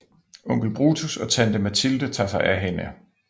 Onkel Brutus og tante Mathilde tager sig af hende